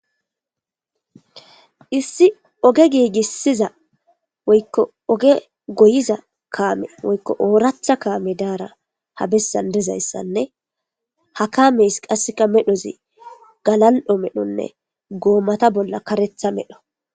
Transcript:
Issi oge gigisiza woyikko oge goyiza kame woyikko ooratha kame dara habesan dizaysanne ha kamesi qase medhozi galal'o medhonne gomata bolla karetha medho.